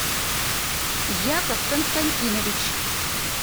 яков константинович